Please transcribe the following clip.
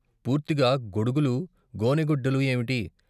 పూర్తిగా గొడుగులూ గోనె గుడ్డలూ ఏవిటి?